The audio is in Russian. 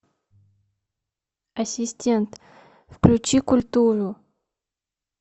ассистент включи культуру